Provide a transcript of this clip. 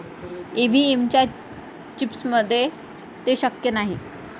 EVM च्या चिप्समध्ये ते शक्य नाही.